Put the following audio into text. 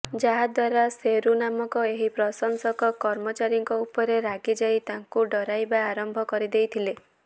ଯାହାଦ୍ୱାରା ଶେରୁ ନାମକ ଏହି ପ୍ରଶଂସକ କର୍ମଚାରୀଙ୍କ ଉପରେ ରାଗିଯାଇ ତାଙ୍କୁ ଡରାଇବା ଆରମ୍ଭ କରିଦେଇଥିଲେ